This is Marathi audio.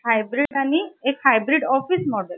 एक hybrid आणि एक office model